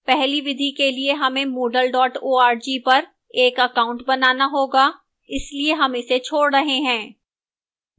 पहली विधि के लिए हमें moodle org पर एक account बनाना होगा इसलिए हम इसे छोड़ रहे हैं